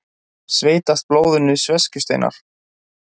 Sveitast blóðinu sveskjusteinar.